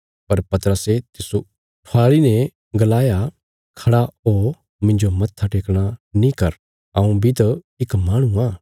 पर पतरसे तिस्सो ऊठाईने गलाया खड़ा हो मिन्जो मत्था टेकणा नीं कर हऊँ बी त इक माहणु आ